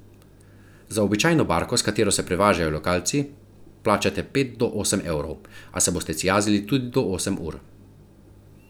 Za običajno barko, s katero se prevažajo lokalci, plačate od pet do osem evrov, a se boste cijazili tudi do osem ur.